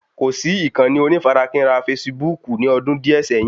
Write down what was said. Kò sì ìkànnì onífarakínra fasibúùkù ní ọdún díè sẹ́yìn